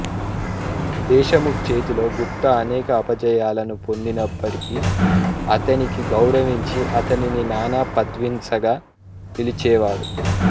దేశముఖ్ చేతిలో గుప్తా అనేక అపజయాలను పొందినప్పటికి అతనికి గౌరవించి అతనిని నానా పదన్విస్గా పిలిచేవాడు